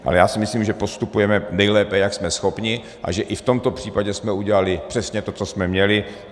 Ale já si myslím, že postupujeme nejlépe, jak jsme schopni, a že i v tomto případě jsme udělali přesně to, co jsme měli.